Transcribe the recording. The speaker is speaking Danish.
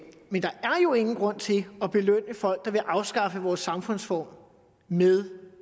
men der er jo ingen grund til at belønne folk der vil afskaffe vores samfundsform med